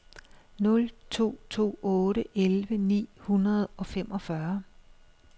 nul to to otte elleve ni hundrede og femogfyrre